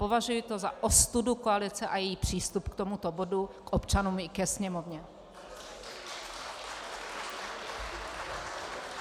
Považuji to za ostudu koalice a její přístup k tomuto bodu, k občanům i ke Sněmovně.